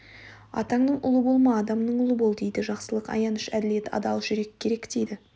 атаның ұлы болма адамның ұлы бол дейді жақсылық аяныш әділет адал жүрек керек дейді